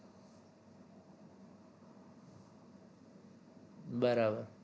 બરાબર